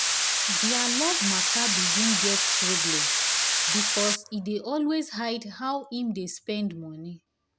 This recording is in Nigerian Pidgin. their love matter begin get problem because he dey always hide how him dey spend money